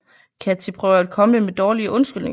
Kathy prøver at komme med dårlige undskyldninger